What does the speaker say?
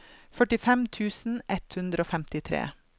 førtifem tusen ett hundre og femtitre